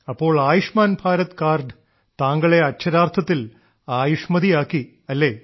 അപ്പോൾ ആയുഷ്മാൻ ഭാരത് കാർഡ് താങ്കളെ അക്ഷരാർത്ഥത്തിൽ ആയുഷ്മതിയാക്കി അല്ലേ